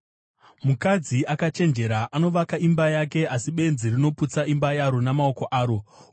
Mukadzi akachenjera anovaka imba yake, asi benzi rinoputsa imba yaro namaoko aro.